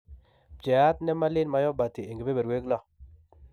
Pcheat Nemaline myopathy eng' kebeberwek 6